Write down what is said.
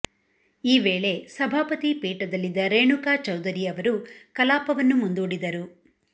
ಈ ವೇಳೆ ಸಭಾಪತಿ ಪೀಠದಲ್ಲಿದ್ದ ರೇಣುಕಾ ಚೌಧರಿ ಅವರು ಕಲಾಪವನ್ನು ಮುಂದೂಡಿದರು